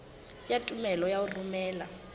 ya tumello ya ho romela